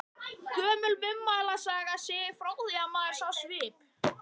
Gömul munnmælasaga segir frá því, að maður sá svip.